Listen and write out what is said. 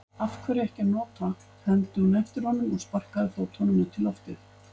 Af hverju ekki að nota, hermdi hún eftir honum og sparkaði fótunum út í loftið.